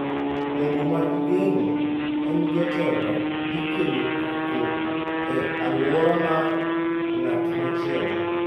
To gima igeng’o en jotelo dhi kelo koko e alwora mar ng’at machielo.